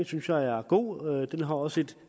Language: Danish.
synes jeg er god og den har også et